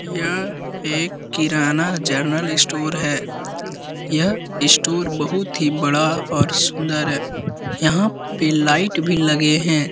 यह एक किराना जनरल स्टोर है। यह स्टोर बहुत ही बड़ा और सुन्दर है। यहाँ पे लाईट भी लगे हैं।